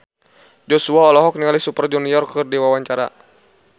Joshua olohok ningali Super Junior keur diwawancara